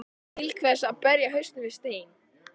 Til hvers að berja hausnum við stein?